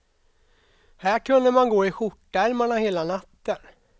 Här kunde man gå i skjortärmarna hela natten.